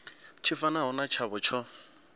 tshi fanaho na tshavho tsho